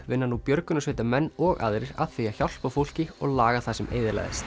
vinna nú björgunarsveitarmenn og aðrir að því að hjálpa fólki og laga það sem eyðilagðist